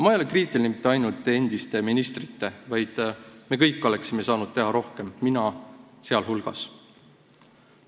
Ma ei ole kriitiline mitte ainult endiste ministrite suhtes, me kõik oleksime saanud teha rohkem, mina sealhulgas.